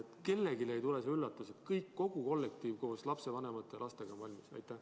Et kellelegi ei tuleks see üllatusena ja kõik, kogu kollektiiv koos lapsevanemate ja lastega, oleksid valmis?